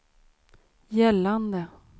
gällande